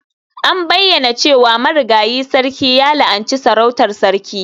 An bayyana cewa marigayi sarkin ya la'anci sarautar Sarki.